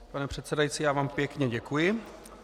Pane předsedající, já vám pěkně děkuji.